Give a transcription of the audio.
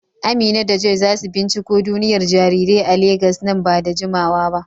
Amina da Joy za su binciko duniyar jarirai a Legas nan ba da jimawa ba.